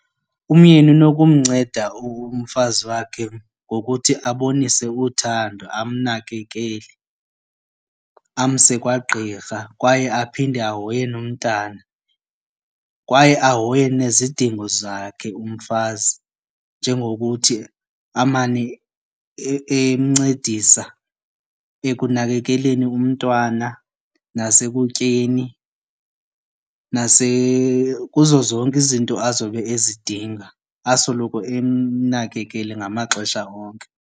Umyeni unokumnceda umfazi wakhe ngokuthi abonise uthando amnakekele, amse kwagqirha kwaye aphinde ahoye nomntana. Kwaye ahoye nezidingo zakhe umfazi njengokuthi amane encedisa ekunakekeleni umntwana nasekutyeni kuzo zonke izinto azobe ezidinga asoloko emnakekele ngamaxesha onke.